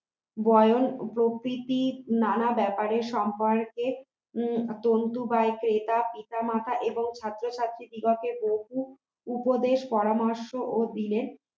বয়স প্রভৃতি নানা ব্যাপারে সম্পর্কে তন্তু বা ক্রেতা পিতা মাতা এবং ছাত্র-ছাত্রী দিগকে বহু উপদেশ পরামর্শ ও দিলেন